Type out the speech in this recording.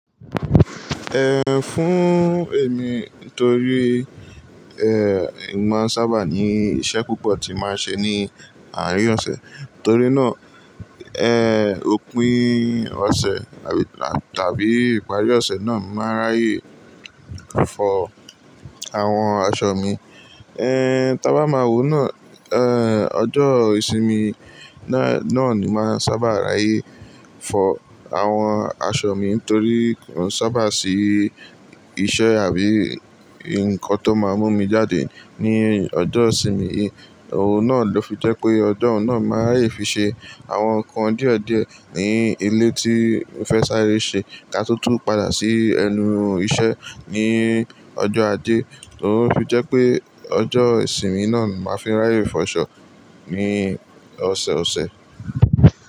Ehn, fún èmi torí eh, èmi maá sábà ní iṣẹ́ púpọ̀ tí màá ṣe ní àárín ọ̀sẹ̀. Torí náà, eh, òpin ọ̀sẹ̀ tàbí ìparí ọ̀sẹ̀ náà ni màá ráyè fọ àwọn aṣọ mi. Eh, tí a bá máa wò náà, eh, ọjọ́ ìsinmi náà ni màá sábà ráyè fọ àwọn aṣọ mi torí n sábà sí iṣẹ́ àbí ǹkan tó máa mú mi jáde ní ọjọ́ ìsinmi. Òun náà ló fi jẹ́ pé ọjọ́ náà màá rí fi ṣe àwọn nnkan díẹ̀ díẹ̀ ní ilé tí fẹ́ sáré ṣe ká tó tú padà sí ẹnu iṣẹ́ ní ọjọ́ ajé. Torí ó fi jẹ́ pé ọjọ́ ìsinmi náà ni màá fi ráyè fọ aṣọ ní ọ̀sẹ̀ ọ̀sẹ̀.